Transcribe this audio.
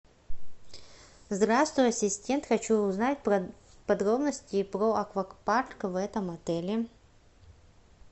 здравствуй ассистент хочу узнать подробности про аквапарк в этом отеле